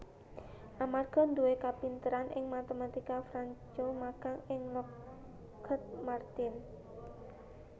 Amarga duwé kapinteran ing matematika Franco magang ing Lockheed Martin